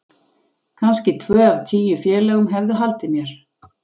Kannski tvö af tíu félögum hefðu haldið mér.